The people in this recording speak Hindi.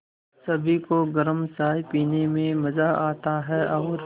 सभी को गरम चाय पीने में मज़ा आता है और